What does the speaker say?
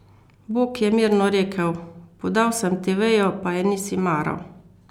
Bog je mirno rekel: "Podal sem ti vejo, pa je nisi maral.